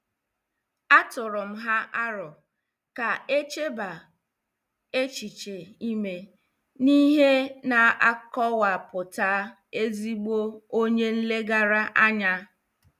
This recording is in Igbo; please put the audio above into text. A tụụrụ m ha arọ ka echebaa echiche ime n'ihe na-akowaputa ezigbo onye nlegara anya.